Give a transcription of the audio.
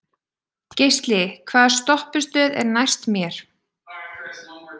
Geisli, hvaða stoppistöð er næst mér?